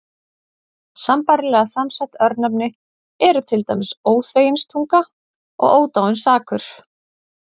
Sambærilega samsett örnefni eru til dæmis Óþveginstunga og Ódáinsakur.